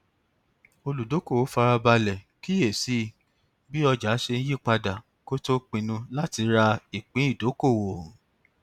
olùdókòwò fara balẹ kíyè sí bí ọjà ṣe ń yí padà kó tó pinnu láti ra ìpín ìdókòwò